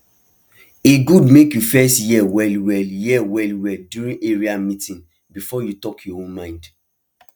e good make you first hear wellwell hear wellwell during area meeting before you talk your own mind